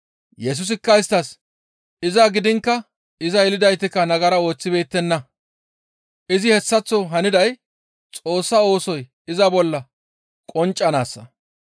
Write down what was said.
Yesusikka isttas, «Iza gidiinkka iza yelidaytikka nagara ooththibeettenna. Izi hessaththo haniday Xoossa oosoy iza bolla qonccanaassa.